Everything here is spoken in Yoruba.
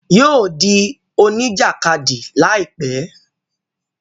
Yóò dí oníjàkádì láìpẹ́